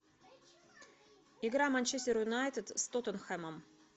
игра манчестер юнайтед с тоттенхэмом